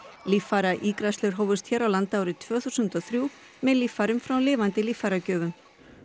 líffæraígræðslur hófust hér á landi árið tvö þúsund og þrjú með líffærum frá lifandi líffæragjöfum